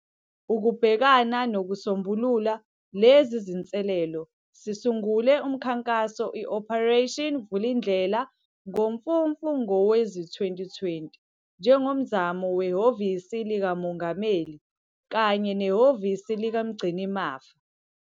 Ukubhekana nokusombulula lezi zinselele, sisungule umkhankaso iOperation Vulindlela ngoMfumfu ngowezi-2020 njengomzamo weHhovisi likaMongameli kanye neHhovisi likaMgcinimafa.